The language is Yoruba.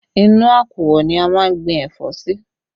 Inú àkùọ̀ ni a máa ń gbìn ẹ̀fọ́ sí